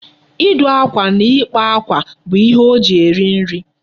Ịdụ akwa na ịkpa akwa bụ ihe o ji eri nri.